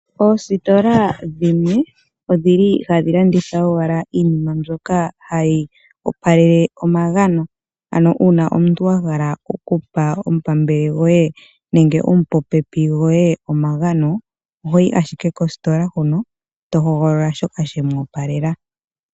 Oositola dhimwe odhili hadhi landitha owala iinima mbyoka hayi opa lele omagano ano omuntu ahala okupa omupambele goye nenge omupopepi goye omagano . Ohoyi ashike kosikola huno tohogolola shoka shemu opalela.